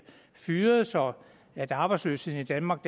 fyret så arbejdsløsheden i danmark